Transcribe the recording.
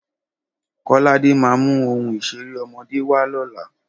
Kọ́ládé ma mu ohun ìṣeré ọmọdé wa lóla